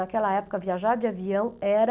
Naquela época, viajar de avião era...